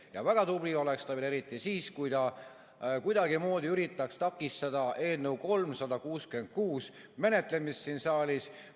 Ja väga tubli oleks ta veel eriti siis, kui ta kuidagimoodi üritaks takistada eelnõu 366 menetlemist siin saalis.